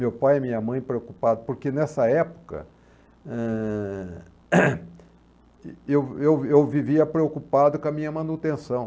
Meu pai e minha mãe preocupado, porque nessa época, eh... eu eu eu vivia preocupado com a minha manutenção.